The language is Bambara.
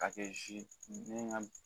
Ka kɛ zi ka